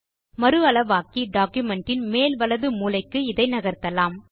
மறு அளவாக்கி டாக்குமென்ட் இன் மேல் வலது மூலைக்கு இதை நகர்த்தலாம்